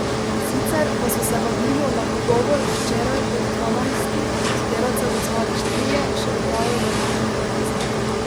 Sicer pa so se vabilu na pogovor včeraj od dvanajstih sodelavcev odzvali štirje, še dodajajo na univerzi.